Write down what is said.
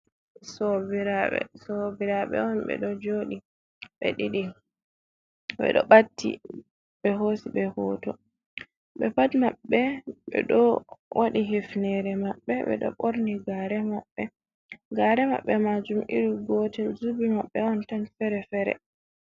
Sobiraɓe on ɓe ɗo jodi ɓe ɗiɗi, ɓe ɗo ɓatti ɓe hosi ɓe hoto, ɓe pat maɓɓe, ɓe ɗo waɗi hifnere maɓɓe, ɓe do ɓorni gare maɓɓe, gare maɓɓe, majum iri gotel, zubi maɓɓe on tan fere fere.